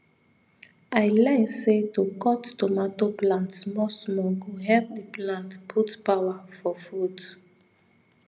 i learn say to cut tomato plant small small go help the plant put power for fruit